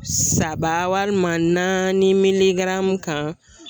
Saba walima naani miligaramu kan